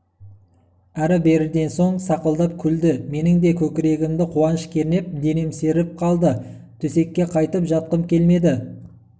әрі-беріден соң сақылдап күлді менің де көкірегімді қуаныш кернеп денем сергіп қалды төсекке қайтып жатқым келмеді